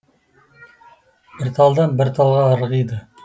бір талдан бір талға ырғиды